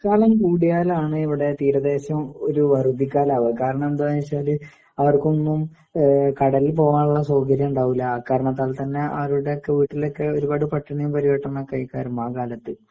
മഴക്കാലം കൂടിയാല് ആണ് ഇവിടെ തീരദേശം ഒരു വറുതി ക്കാലം ആകുക. കാരണം എന്താന്നു വച്ചാല് അവർക്കൊന്നും കടലിൽ പോകാനുള്ള സൌകര്യം ഉണ്ടാവൂലാ. കാരണം മഴക്കാലത്ത് അവരുടെ വീട്ടിലൊക്കെ ഒരുപാട് പട്ടിണിയും പരുവട്ടമൊക്കെ ആയിരിക്കും എഅ കാലത്ത്